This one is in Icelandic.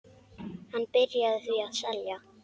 Hann byrjaði því að selja.